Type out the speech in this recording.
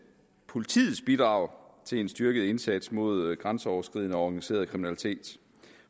politiets bidrag til en styrket indsats mod grænseoverskridende organiseret kriminalitet